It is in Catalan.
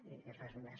i res més